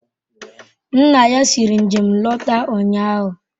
Nna ya siri njem lọta ụnyahụ.